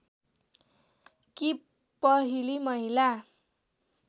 कि पहिली महिला